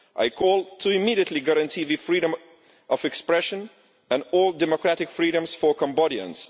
I call on them to immediately guarantee the freedom of expression and all democratic freedoms for Cambodians.